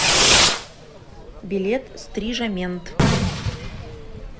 билет стрижамент